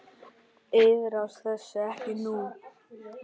Iðrast þess ekki nú.